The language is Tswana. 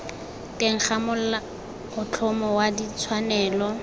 teng ga molaotlhomo wa ditshwanelo